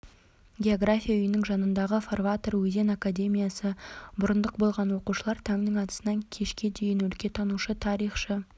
география үйінің жанындағы форватор өзен академиясы мұрындық болған оқушылар таңның атысынан кешке дейін өлкетанушы тарихшы